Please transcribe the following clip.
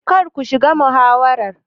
Kar ku shiga muhawarar.